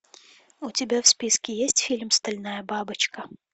у тебя в списке есть фильм стальная бабочка